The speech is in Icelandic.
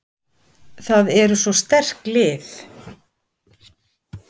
Það eru svo sterk lið.